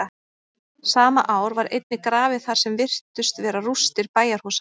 sama ár var einnig grafið þar sem virtust vera rústir bæjarhúsa